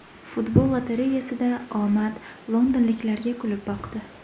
Futbol lotereyasida omad londonliklarga kulib boqdi.